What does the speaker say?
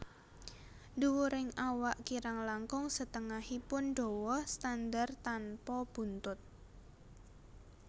Dhuwuring awak kirang langkung setengahipun dawa standar tanpa buntut